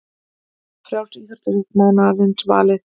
Frjálsíþróttafólk mánaðarins valið